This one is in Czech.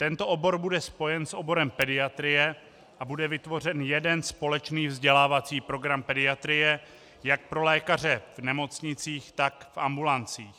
Tento obor bude spojen s oborem pediatrie a bude vytvořen jeden společný vzdělávací program pediatrie jak pro lékaře v nemocnicích, tak v ambulancích.